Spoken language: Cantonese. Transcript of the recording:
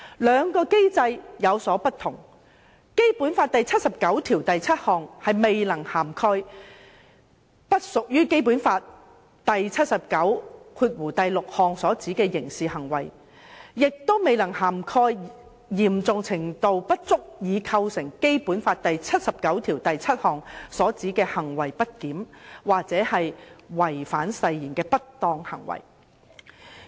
兩個機制有所不同，《基本法》第七十九條第七項未能涵蓋不屬於《基本法》第七十九條第六項所指的刑事行為，亦未能涵蓋嚴重程度不足以構成《基本法》第七十九條第七項所指的行為不檢或違反誓言的不當行為。